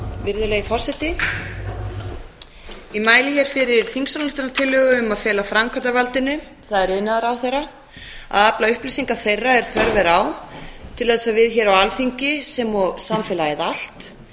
virðulegi forseti ég mæli hér fyrir þingsályktunartillögu um að fela framkvæmdarvaldinu það er iðnaðarráðherra að afla upplýsinga þeirra er þörf er á til þess að við hér á alþingi sem og samfélagið allt